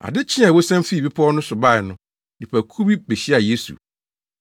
Ade kyee a wosian fii bepɔw no so bae no, nnipakuw bi behyiaa Yesu.